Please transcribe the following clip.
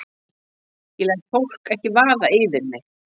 Ég læt fólk ekki vaða yfir mig.